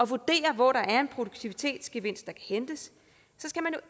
vurdere hvor der er en produktivitetsgevinst at hente så skal man